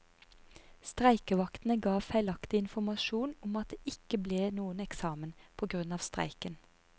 Streikevaktene ga feilaktig informasjon om at det ikke ble noen eksamen, på grunn av streiken.